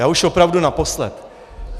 Já už opravdu naposled.